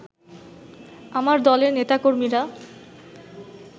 আমার দলের নেতা-কর্মীরা